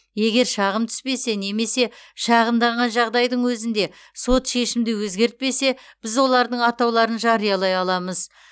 егер шағым түспесе немесе шағымданған жағдайдың өзінде сот шешімді өзгертпесе біз олардың атауларын жариялай аламыз